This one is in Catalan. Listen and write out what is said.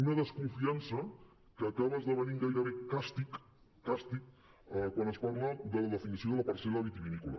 una desconfiança que acaba esdevenint gairebé càstig càstig quan es parla de la definició de la parcel·la vitivinícola